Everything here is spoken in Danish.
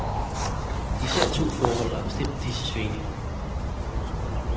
Især to forhold har bestemt disse svingninger.